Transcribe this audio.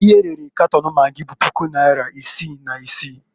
Ihe erere Katon magị bụ puku naịra isi na isi.